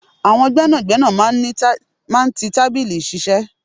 Àwọn gbẹ́nàgbẹ́nà máa ń tí tábìlì iṣiṣẹ.